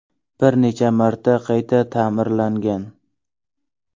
Bir necha marta qayta ta’mirlangan.